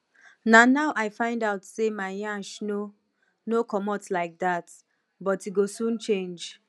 na now i find out sey my nyash no no comot like dat but e go soon change